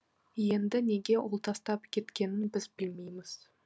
енді неге ол тастап кеткенін біз білмейміз